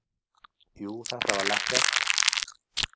Jú, þetta var lekkert.